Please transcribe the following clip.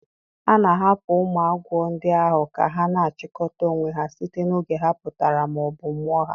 A na-ahapụ ụmụ agwọ ndị ahụ ka ha na-achikọta onwe ha site n’oge ha pụtara ma ọ bụ mụọ ha.